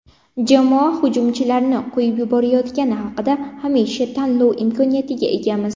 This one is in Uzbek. Jamoa hujumchilarni qo‘yib yuborayotgani haqida Hamisha tanlov imkoniyatiga egamiz.